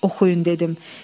Oxuyun dedim.